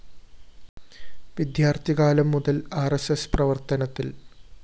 വിദ്യാര്‍ത്ഥികാലം മുതല്‍ R S S പ്രവര്‍ത്തനത്തില്‍